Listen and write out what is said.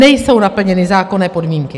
Nejsou naplněny zákonné podmínky.